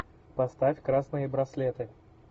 поставь красные браслеты